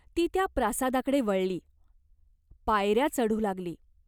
ती त्या प्रासादाकडे वळली. पायऱ्या चढू लागली.